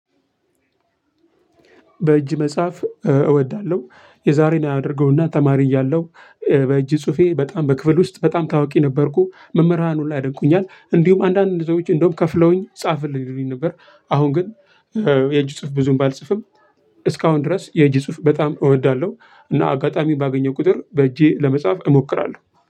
በእጅ መጽሐፍ እወዳለሁ የዛሬን አያደርገውና ተማሪ እያለሁ በእጅ ጽሁፌ በጣም በክፍል ውስጥ በጣም ታውቂ ነበርኩ መምህራን ሁላ ያደንቁኛል እንዲሁም አንዳንድ ሰዎች እንደውም ከፍለውኝ ጻፍልኝ ይሉኝ ነበር። አሁን ግን የእጅ ጽሁፍ ብዙም ባልጽፍም እስካሁን ድረስ የእጅ ጽሁፍ በጣም እወዳለሁ። እና አጋጣሚ ባገኘው ቁጥር በእጄ ለመጻፍ እሞክራለሁ